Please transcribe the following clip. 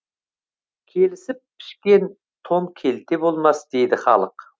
келісіп пішкен тон келте болмас дейді халық